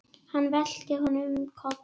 Hann velti honum um koll.